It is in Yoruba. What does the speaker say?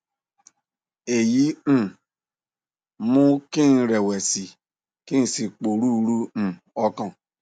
èyí um mú kí n rẹwẹsì ki n si poruru um okan